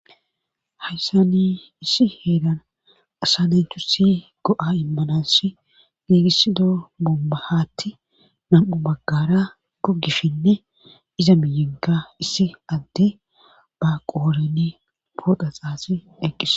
Hyssan issi heeran asa naatusi go'a imanasi gigisido bombba haaththi nam'u bagara gogishenne iza miyenkka issi adde ba qodhen pooxa xaaxidi eqqis.